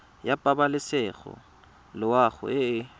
ya pabalesego loago e e